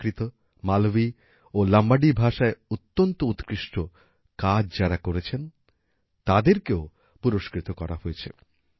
প্রাকৃত মালভি ও লম্বাডি ভাষায় অত্যন্ত উৎকৃষ্ট কাজ যারা করেছেন তাদেরকেও পুরস্কৃত করা হয়েছে